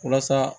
Walasa